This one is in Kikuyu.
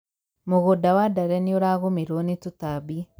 mũgũnda wa ndare nĩũragũmĩrwo nĩ tũtambi